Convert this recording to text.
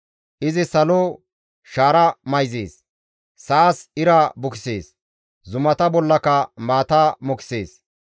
Izi salo shaara mayzees; sa7as ira bukisees; zumata bollaka maata mokisees.